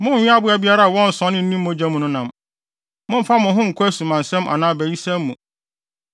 “ ‘Monnwe aboa biara a wɔnsɔnee ne mu mogya no nam. “ ‘Mommfa mo ho nkɔ asumansɛm anaa abayisɛm mu.